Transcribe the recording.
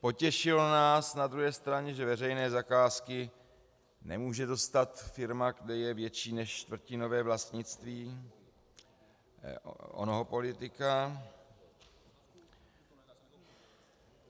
Potěšilo nás na druhé straně, že veřejné zakázky nemůže dostat firma, kde je větší než čtvrtinové vlastnictví onoho politika.